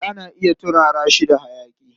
Kifi ana iya turara shi da hayaƙi.